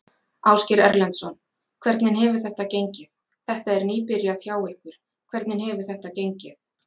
Ásgeir Erlendsson: Hvernig hefur þetta gengið, þetta er nýbyrjað hjá ykkur, hvernig hefur þetta gengið?